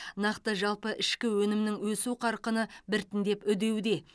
нақты жалпы ішкі өнімнің өсу қарқыны біртіндеп үдеуде